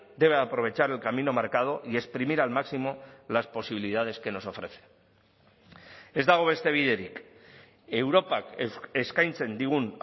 debe aprovechar el camino marcado y exprimir al máximo las posibilidades que nos ofrece ez dago beste biderik europak eskaintzen digun